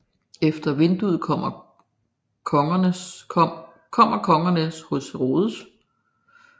Efter vinduet kommer Kongerne hos Herodes